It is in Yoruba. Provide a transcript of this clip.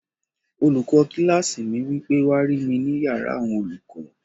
Olùkọ́ kílásì mi wí pé, "wá rí mi ní yàrá àwọn olùkọ́!"